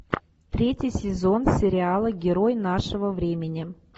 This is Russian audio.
третий сезон сериала герой нашего времени